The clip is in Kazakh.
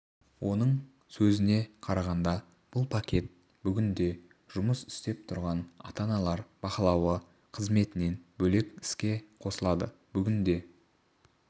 оның сөзіне қарағанда бұл пакет бүгінде жұмыс істеп тұрған ата-аналар бақылауы қызметінен бөлек іске қосылады бүгінде